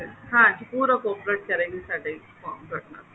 ਹਾਂਜੀ ਪੂਰਾ focus ਕਰਨਗੇ ਸਾਡੇ ਤੁਹਾਡੇ ਨਾਲ